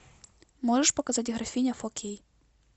можешь показать графиня фор кей